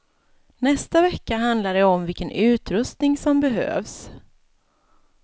Nästa vecka handlar det om vilken utrustning som behövs.